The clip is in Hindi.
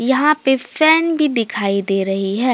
यहां पे फैन भी दिखाई दे रही है।